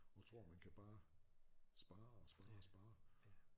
Og tror man kan bare spare og spare og spare